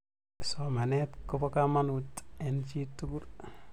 Somanet kopo kamonut eng' chi tukul.